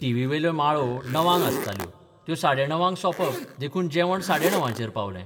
टीव्हीवेल्यो माळो णवांक आसताल्यो त्यो साडेणवांक सोपप देखून जेवण साडेणबांचेर पावलें.